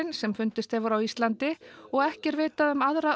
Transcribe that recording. sem fundist hefur á Íslandi og ekki er vitað um aðra